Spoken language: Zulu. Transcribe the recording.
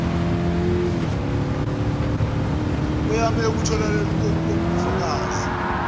kweyame ekutholakaleni kokbufakazi